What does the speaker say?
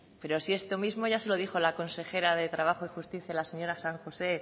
pero si esto mismo ya se lo dijo la consejera de trabajo y justicia la señora san josé